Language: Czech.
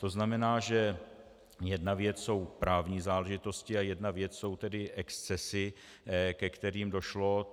To znamená, že jedna věc jsou právní záležitosti a jedna věc jsou tedy excesy, ke kterým došlo.